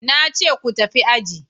Na ce ku tafi aji!